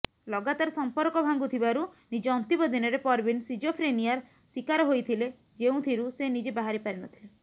ଲଗାତାର ସମ୍ପର୍କ ଭାଙ୍ଗୁଥିବାରୁ ନିଜ ଅନ୍ତିମ ଦିନରେ ପରବିନ ସିଜୋଫ୍ରେନିୟାର ଶିକାର ହୋଇଥିଲେ ଯେଉଁଥିରୁ ସେ ନିଜେ ବାହାରିପାରିନଥିଲେ